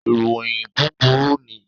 Iroyin buburu ni